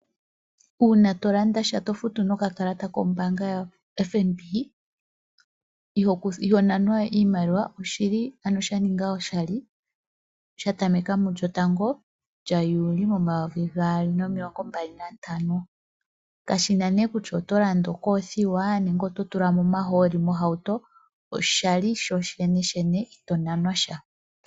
Uuna to landa sha to futu nokakalata kombaanga yotango yopashigwana (FNB) iho nanwa we iimaliwa oshi li ano sha ninga oshali, sha tameka mulyotango lyaJuli momayovi gaali nomilongo mbali nantano. Kashi nee kutya oto landa ookothiwa nenge oto tula mo omahooli mohauto, oshali sho sheneshene ito nanwa sha.